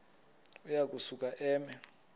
uya kusuka eme